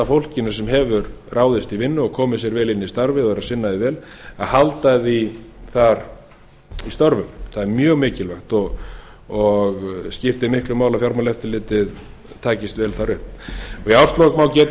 fólkinu sem hefur ráðið sig í vinnu og komið sér vel inn í starfið og er að sinna því vel að halda því þar í störfum það er mjög mikilvægt og skiptir miklu máli að fjármálaeftirliti takist vel þar upp í árslok má geta